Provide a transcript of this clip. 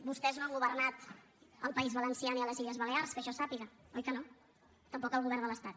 vostès no han governat al país valencià ni a les illes balears que jo sàpiga oi que no tampoc al govern de l’estat